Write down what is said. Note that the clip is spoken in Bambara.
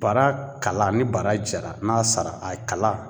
Bara kala ni bara jara n'a sara a kala